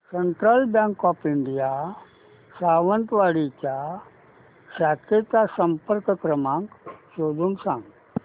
central bank of India Sawantwadi च्या शाखेचा संपर्क क्रमांक शोधून सांग